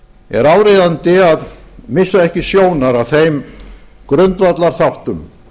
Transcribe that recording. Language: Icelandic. er áríðandi að missa ekki sjónar af þeim grundvallarþáttum